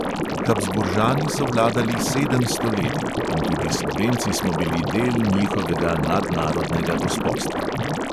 Habsburžani so vladali sedem stoletij in tudi slovenci smo bili del njihovega nadnarodnega gospostva.